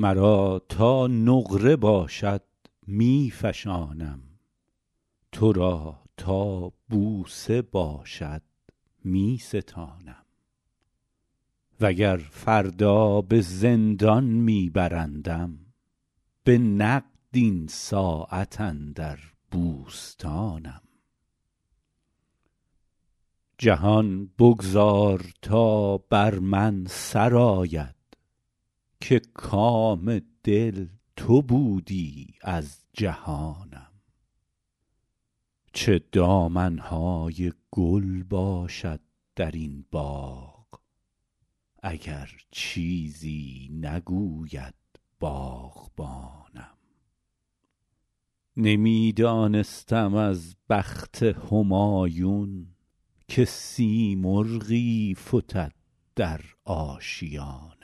مرا تا نقره باشد می فشانم تو را تا بوسه باشد می ستانم و گر فردا به زندان می برندم به نقد این ساعت اندر بوستانم جهان بگذار تا بر من سر آید که کام دل تو بودی از جهانم چه دامن های گل باشد در این باغ اگر چیزی نگوید باغبانم نمی دانستم از بخت همایون که سیمرغی فتد در آشیانم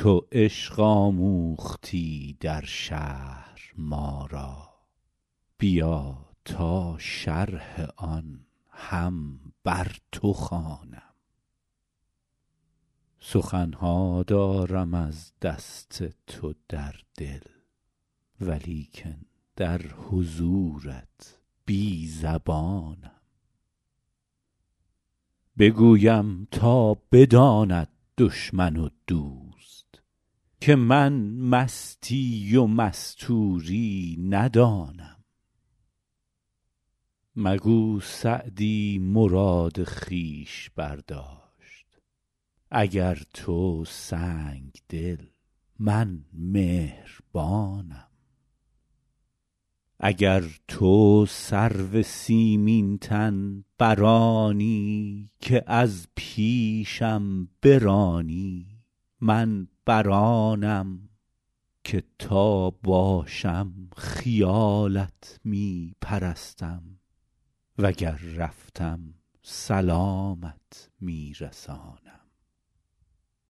تو عشق آموختی در شهر ما را بیا تا شرح آن هم بر تو خوانم سخن ها دارم از دست تو در دل ولیکن در حضورت بی زبانم بگویم تا بداند دشمن و دوست که من مستی و مستوری ندانم مگو سعدی مراد خویش برداشت اگر تو سنگدلی من مهربانم اگر تو سرو سیمین تن بر آنی که از پیشم برانی من بر آنم که تا باشم خیالت می پرستم و گر رفتم سلامت می رسانم